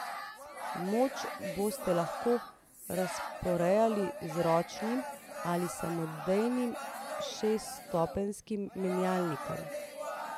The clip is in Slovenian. Moč boste lahko razporejali z ročnim ali samodejnim šeststopenjskim menjalnikom.